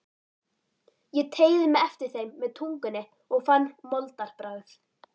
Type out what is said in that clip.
Ég teygði mig eftir þeim með tungunni og fann moldarbragð.